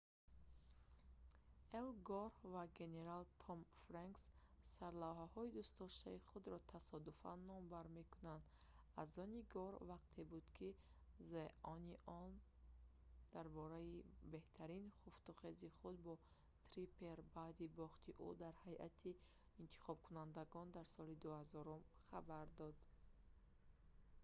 эл гор ва генерал томми фрэнкс сарлавҳаҳои дӯстдоштаи худро тасодуфан номбар мекунанд аз они гор вақте буд ки the onion дар бораи беҳтарин хуфтухези худ бо триппер баъди бохти ӯ дар ҳайати интихобкунандагон дар соли 2000 хабар дод